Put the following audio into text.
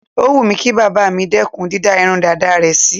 Ó wù mí kí bàbá mi dẹ́kùn dídá irun dàda rẹ̀ sí.